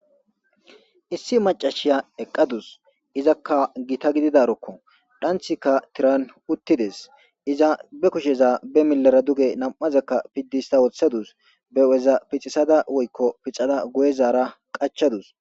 Issi macasiya eqadus izaka gita gididarokko dhanththikka tiran utides iza be kushsheza be milera duge nam'azakka pid hista woththadus be huphpheza guye zaara qachchadus